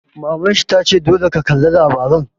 Maman shi ta ce 'Dole ka kalla labarai'!